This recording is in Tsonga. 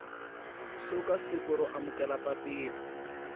suka siku ro amukela papila